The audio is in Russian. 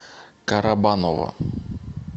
карабаново